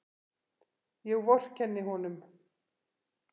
Ég vorkenni honum.